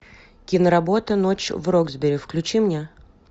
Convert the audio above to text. киноработа ночь в роксбери включи мне